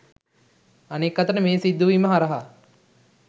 අනෙක් අතට මේ සිදුවීම හරහා